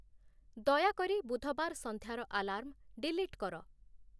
ଦୟାକରି ବୁଧବାର ସନ୍ଧ୍ୟାର ଆଲାର୍ମ ଡିଲିଟ୍‌ କର